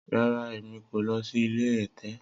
Rara, Emi ko lọ si ile ẹtẹ.